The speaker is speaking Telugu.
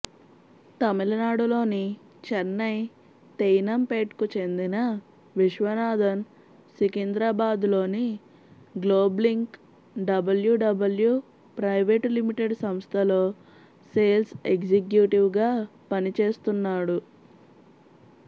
తమిళనాడులోని చెన్నై తెయ్నంపేట్కు చెందిన విశ్వనాథన్ సికింద్రాబాద్లోని గ్లోబ్లింక్ డబ్ల్యూడబ్ల్యూ ప్రైవేటు లిమిటెడ్ సంస్థలో సేల్స్ ఎగ్జిక్యూటివ్గా పనిచేస్తున్నాడు